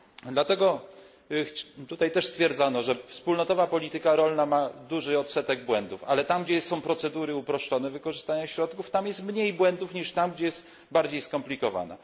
Dlatego tutaj też stwierdzono, że wspólnotowa polityka rolna ma duży odsetek błędów, ale tam, gdzie procedury wykorzystania środków są uproszczone, tam jest mniej błędów, niż tam, gdzie jest bardziej skomplikowana.